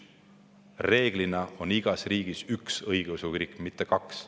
Tavaliselt on igas riigis üks õigeusu kirik, mitte kaks.